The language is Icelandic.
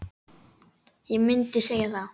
Ég myndi segja það.